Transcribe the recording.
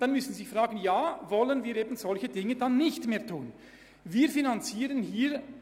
Sie müssten sich vielmehr fragen, ob wir solche Dinge dann nicht mehr anbieten wollen.